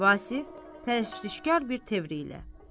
Vasif pərəştişkar bir təvirlə.